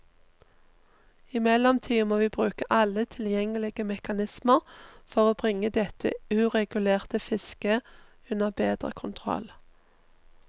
I mellomtiden må vi bruke alle tilgjengelige mekanismer for bringe dette uregulerte fisket under bedre kontroll.